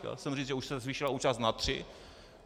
Chtěl jsem říct, že už se zvýšila účast na tři.